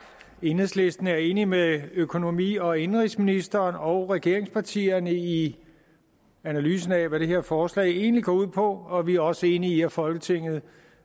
enhedslisten er enig med økonomi og indenrigsministeren og regeringspartierne i analysen af hvad det her forslag egentlig går ud på og vi er også enige i at folketinget